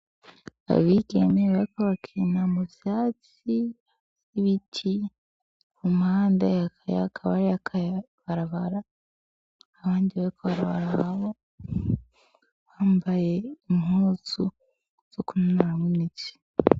Abigeme bariko barakina mu vyatsi, ibiti, ku mpande hakaba hariho akabarabara, abandi bari kw'ibarababa bambaye impuzu zo kwinonoramwo imitsi.